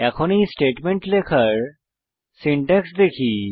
এখন এই স্টেটমেন্ট লেখার সিনট্যাক্স দেখি